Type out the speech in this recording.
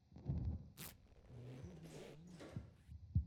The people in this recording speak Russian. неудобная планета